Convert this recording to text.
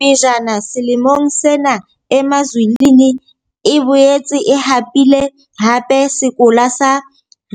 Pejana selemong sena Emazulwini e boetse e hapile hape sekola sa